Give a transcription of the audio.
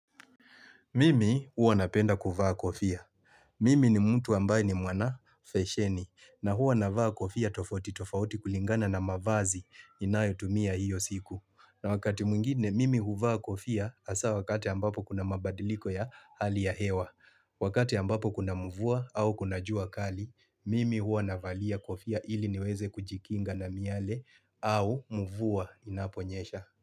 Mimi huwa napenda kuvaa kofia. Mimi ni mtu ambaye ni mwana fesheni na huwa na vaa kofia tofauti tofauti kulingana na mavazi inayotumia hiyo siku. Na wakati mwingine mimi huvaa kofia hasa wakati ambapo kuna mabadiliko ya hali ya hewa. Wakati ambapo kuna mvua au kuna jua kali, mimi huwa na valia kofia ili niweze kujikinga na miale au mvua inaponyesha.